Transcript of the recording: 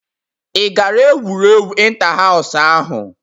Ị gara egwuregwu inta hasu ahj?